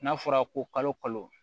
N'a fɔra ko kalo kalo